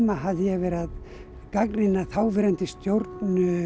hafði ég verið að gagnrýna þáverandi stjórn